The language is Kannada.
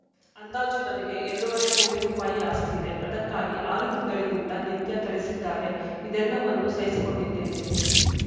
ಅಂದಾಜು ನನಗೆ ಎರಡೂವರೆ ಕೋಟಿ ರೂಪಾಯಿ ಆಸ್ತಿ ಇದೆ ಅದಕ್ಕಾಗಿ ಆರು ತಿಂಗಳಿನಿಂದ ನಿತ್ಯ ಥಳಿಸಿದ್ದಾರೆ ಇದೆಲ್ಲವನ್ನೂ ಸಹಿಸಿಕೊಂಡಿದ್ದೇನೆ